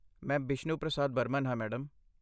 ਮੈਂ ਬਿਸ਼ਨੂ ਪ੍ਰਸਾਦ ਬਰਮਨ ਹਾਂ, ਮੈਡਮ।